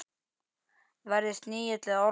Verði snigill eða ormur.